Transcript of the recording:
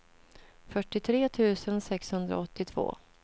fyrtiotre tusen sexhundraåttiotvå